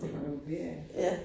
Det fungerer jo